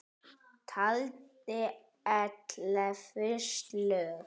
Taldi ellefu slög.